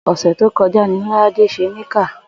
Ò̩sè̩ tó ko̩já ni Lo̩ládé s̩e Nìkáà